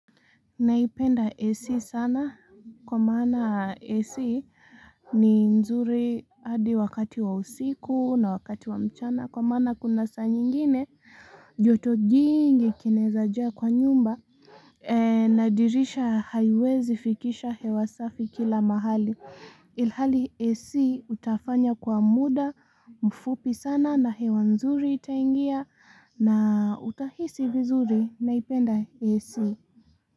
Naipenda AC sana kwa maana AC ni nzuri hadi wakati wa usiku na wakati wa mchana kwa mana kuna saa nyingine joto jingi kinaeza jaa kwa nyumba na dirisha haiwezi fikisha hewa safi kila mahali. Ilhali AC utafanya kwa muda mfupi sana na hewa nzuri itaingia na utahisi vizuri naipenda AC.